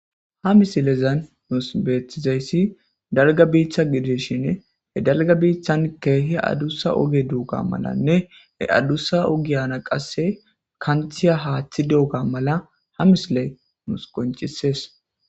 ha misilezan nus beeththizayssi dalga biitta gideshin he dalga biittan keehi adussa oge duuga malanne e addussa ogiyana qasse kanthiya haaththi duuga mala ha misley nus qoncisees